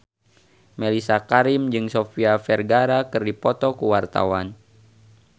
Mellisa Karim jeung Sofia Vergara keur dipoto ku wartawan